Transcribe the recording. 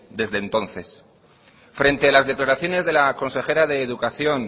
desde entonces frente a las declaraciones de la consejera de educación